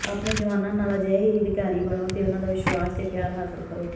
ਆਪਣੇ ਜਵਾਨਾਂ ਨਾਲ ਅਜਿਹੇ ਹੀ ਅਧਿਕਾਰੀ ਬਣੋ ਤੇ ਉਨ੍ਹਾਂ ਦਾ ਵਿਸ਼ਵਾਸ ਤੇ ਪਿਆਰ ਹਾਸਲ ਕਰੋ